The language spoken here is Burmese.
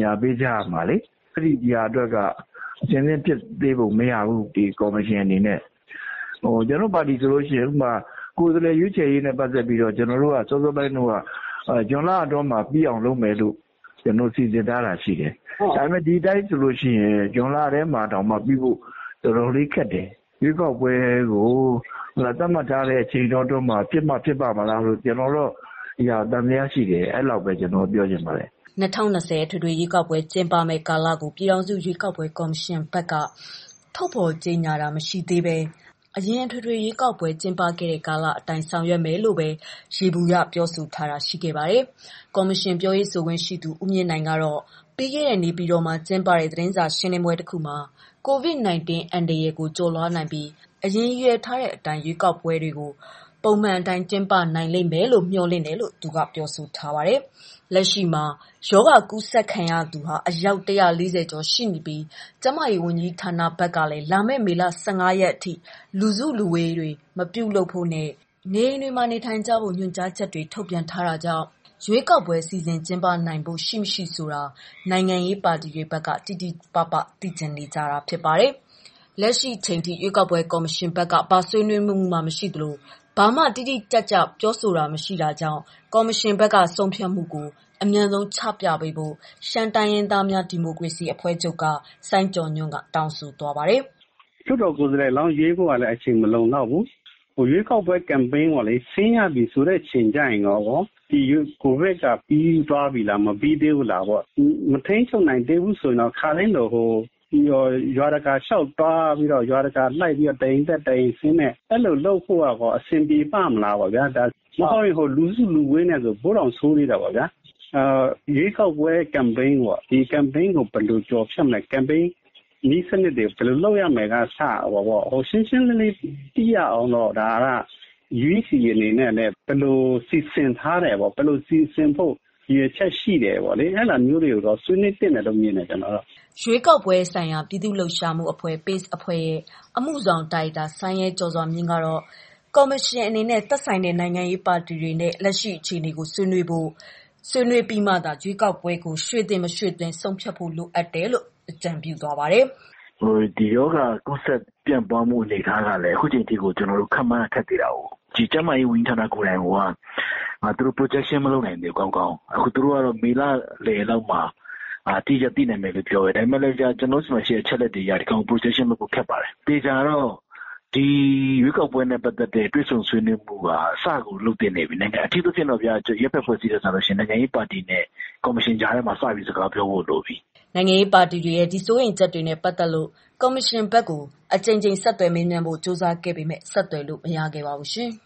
ငြာပေးကြရမှာလေ။ ဒါကလည်း ကော်မရှင်ဘက်က အဆင်သင့်ဖြစ်ပုံ မရဘူး။ ကျနော်တို့နိုင်ငံရေးပါတီတွေဘက်ကလည်း ကိုယ်စားလှယ် ရွေးဖို့က ဇွန်လအတွင်းပြီးအောင်လုပ်မယ်လို့ လျာထားပေမဲ့ ဒီအတိုင်းဆိုလို့ရှိရင် ဇွန်လထဲမှာတောင်မှ ပြီးဖို့ တော်တော်လေးခက်တယ်။ ရွေးကောက်ပွဲကို သက်မှတ်ထားတဲ့ အချိန်အတော်အတွင်းမှာ ဖြစ်မှ၊ ဖြစ်ပါ့မလားလို့ ကျနော်တော့် သံသယရှိတယ် ပြောချင်ပါတယ်။" ၂၀၂၀ အထွေထွေရွေး ကောက်ပွဲ ကျင်းပမယ့် ကာလကို ပြည်ထောင်စု ရွေးကောက်ပွဲ ကော်မရှင်ဘက်က ထုတ်ဖော်ကြေညာတာ မရှိသေးဘဲ အရင်အထွေထွေ ရွေးကောက်ပွဲတွေ ကျင်းပ ခဲ့တဲ့ ကာလအတိုင်း ဆောင်ရွက်မယ်လို့ပဲ ယေဘူယျပြောဆိုထားတာ ရှိပါတယ်။ ကော်မရှင်ပြောရေးဆို ခွင့်ရှိသူ ဦးမြင့်နိုင်က ပြီးခဲ့တဲ့ နေပြည်တော်မှာ ကျင်းပခဲ့တဲ့ သတင်းစာရှင်းလင်းပွဲမှာ COVID-19 အန္တရာယ်ကို ကျော်လွှားနိုင်ပြီး အရင်ရည်ရွယ်ထားတဲ့ အတိုင်းကျင်းပနိုင်မယ်လို့ မျှော်လင့်တယ်လို့ ပြောဆိုထားပါတယ်။ လက်ရှိမှာ ရောဂါကူးစက်ခံရသူ ၁၄၀ ကျော် တွေ့ရှိထားပြီး ကျန်းမာရေးဝန်ကြီးဌာန ဘက်ကလည်း လာမယ့် မေလ ၁၅ ရက်အထိ လူစုလူဝေးများ မပြုလုပ်ဖို့နဲ့ နေအိမ်တွင်သာ နေ ထိုင်ကြဖို့ညွှန်ကြားချက်များ ထုတ်ပြန်ထားတာကြောင့် ရွေးကောက်ပွဲ စီစဉ်ကျင်းပနိုင်ဖို့ ရှိမရှိဆိုတာကို နိုင်ငံရေးပါတီတွေဘက်က တိတိပပ သိချင်နေကြပါတယ်။ လက်ရှိချိန် ထိ ကော်မရှင်ဘက်က ဘာဆွေးနွေးမှုမှမရှိသလို ဘာမှ တိတိကျကျ မသိတာကြောင့် ကော်မရှင်ဘက်က ဆုံးဖြတ်မှုကို အမြန်ဆုံးချပြပေးဖို့ ရှမ်းတိုင်းရင်းသားများ ဒီမိုကရေစီအဖွဲ့ချုပ်က စိုင်းကျော်ညွှန့်က တောင်းဆိုလိုက်ပါတယ်။ "လွှတ်တော်ကိုယ်စားလှယ်လောင်း ရွေးဖို့ကလည်း အချိန်မလုံလောက်ဘူး။ ရွေးကောက်ပွဲ campaign ဆင်းရပြီ ဆိုတဲ့ အဲချိန်မှာ ဒီရောဂါထိန်းချုပ်နိုင်ပြီလား၊ မထိန်းချုပ်နိုင်ရင် တအိမ်တက်ဆင်း စည်းရုံးရေးလုပ်ဖို့က ဘယ်လိုလုပ်မလဲ။ ဘယ်လိုကျော်လွှားမလဲ။ campaign နည်းစနစ်တွေ ဘယ်လိုလုပ်ရမယ်ကအစ ရှင်းရှင်းလင်းလင်းသိရအောင်တော့ UEC အနေနဲ့လည်း ဘယ်လိုစီစဉ်ထားတယ်၊ ဘယ်လိုစီစဉ်ဖို့ ရည်ရွယ်ချက်ရှိတယ်ပေါ့လေ၊ အဲဒါမျိုးတွေကိုတော့ ဆွေးနွေးသင့်တယ်လို့ မြင်တယ်ကျနော်တော့။" ရွေးကောက်ပွဲဆိုင် ရာ ပြည်သူ့လှုပ်ရှားမှုအဖွဲ့ အဖွဲ့ အမှုဆောင်ဒါရိုက်တာ စိုင်းရဲကျော်စွာမြင့်က ကော်မရှင်အနေနဲ့ သက်ဆိုင်တဲ့ နိုင်ငံရေးပါတီတွေနဲ့ လက်ရှိအခြေအနေကို ဆွေးနွေးဖို့နဲ့ ဆွေးနွေးအပြီးမှ ရွေးကောက်ပွဲကိုရွှေ့သင့်၊ မရွှေ့သင့်ကို ဆုံးဖြတ်ပေးဖို့ လိုအပ်တယ်လို့ ပြောပါတယ်။ "ဒီရောဂါကူးစက်ပြန့်ပွားမှု အနေအထားကလည်း ခုချိန်ထိကို ကျနော်တို့ ခန့်မှန်းရ ခက်သေးတာကိုး။ ကျန်းမာရေးဌာနကိုယ်တိုင်ကိုက သူတို့ protection မလုပ်နိုင်သေးဘူးကောင်းကောင်း။ သူတို့ကတော့ မေလလယ်လောက်မှာ အတိအကျသိနိုင်မယ်လို့ ပြောတယ်။ ဒါပေမဲ့ ကျနော်တို့ဆီမှာ ရှိတဲ့ အချက်အလက်တွေအရ ဒီဟာကို Protection လုပ်ဖို့ ခက်ပါတယ်။ သေချာတာကတော့ ဒီရွေးကောက်ပွဲနဲ့ ပတ်သက်တဲ့ တွေ့ဆုံဆွေးနွေးမှုက စကို လုပ်သင့်နေပြီ။ အထူးသဖြင့်တော့ဗျာ... နိုင်ငံရေးပါတီတွေနဲ့ ကော်မရှင်ကြားထဲမှာ စပြီးတော့ စကားပြောဖို့ လိုပြီ။" နိုင်ငံရေးပါတီတွေရဲ့ ဒီစိုးရိမ်ချက်တွေနဲ့ ပတ်သက်လို့ ကော်မရှင်ဘက်ကို အကြိမ်ကြိမ်ဆက်သွယ်မေးမြန်းဖို့ ကြိုးစားပေမဲ့ ဆက်သွယ်လို့မရခဲ့ပါဘူးရှင်။